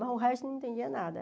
Mas o resto não entendia nada.